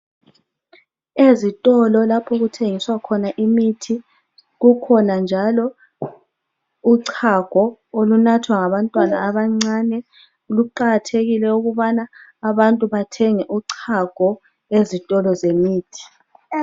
Ezitolo lapho okuthengiswa khona imithi kukhona njalo uchago olunathwa ngabantwana abancane kuqakathekile ukubana abantu bathenge uchago ezitolo zemithi